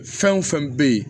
Fɛn o fɛn bɛ yen